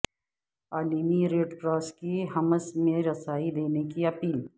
عالمی ریڈکراس کی حمص میں رسائی دینے کی اپیل